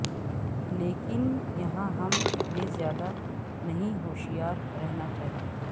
لیکن یہاں ہم یہ زیادہ نہیں ہوشیار رہنا چاہئے